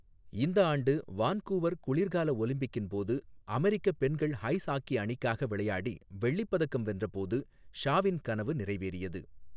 இந்த ஆண்டு வான்கூவர் குளிர்கால ஒலிம்பிக்கின் போது அமெரிக்க பெண்கள் ஐஸ் ஹாக்கி அணிக்காக விளையாடி வெள்ளிப் பதக்கம் வென்றபோது ஷாவின் கனவு நிறைவேறியது.